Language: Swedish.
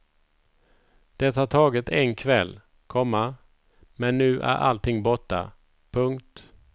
Det har tagit en kväll, komma men nu är allting borta. punkt